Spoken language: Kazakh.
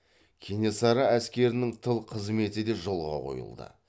кенесары әскерінің тыл қызметі де жолға қойылды